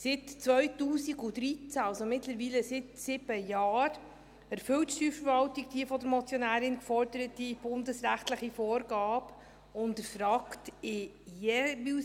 Seit 2013, also mittlerweile seit sieben Jahren, erfüllt die Steuerverwaltung die von der Motionärin geforderte bundesrechtliche Vorgabe und erfragt jeweils